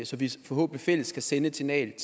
så vi forhåbentlig fælles kan sende et signal